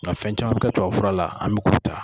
N ga fɛn caman mi kɛ tubabu fura la an mi o ta